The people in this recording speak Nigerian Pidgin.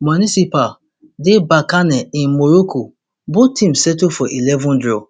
municipal de berkane in morocco both teams settle for eleven draw